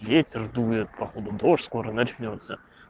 ветер дует походу дождь скоро начнётся